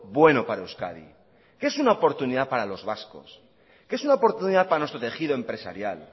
bueno para euskadi que es una oportunidad para los vascos que es una oportunidad para nuestro tejido empresarial